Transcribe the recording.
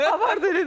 Avar dilini.